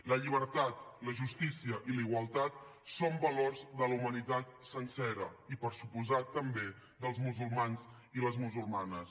la llibertat la justícia i la igualtat són valors de la humanitat sencera i per descomptat també dels musulmans i les musulmanes